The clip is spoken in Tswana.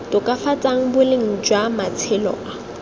tokafatsang boleng jwa matshelo a